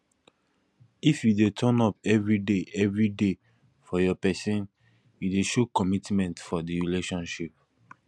if you de turn up everyday everyday for your persin you de show commitment for di relationship